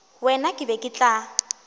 wena ke be ke tla